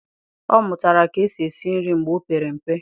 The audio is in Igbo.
Ọ mụtara ka esi esi nri mgbe o opere mpe.